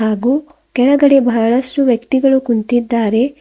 ಹಾಗು ಕೆಳಗಡೆ ಬಹಳಷ್ಟು ವ್ಯಕ್ತಿಗಳು ಕುಂತಿದ್ದಾರೆ.